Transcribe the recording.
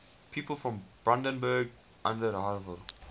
people from brandenburg an der havel